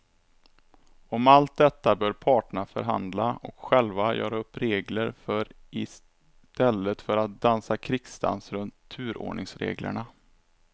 Om allt detta bör parterna förhandla och själva göra upp regler för i stället för att dansa krigsdans runt turordningsreglerna.